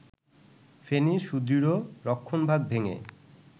ফেনীর সুদৃঢ় রক্ষণভাগ ভেঙে